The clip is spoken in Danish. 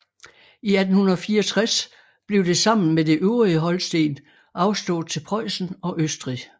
I 1864 blev det sammen med det øvrige Holsten afstået til Preussen og Østrig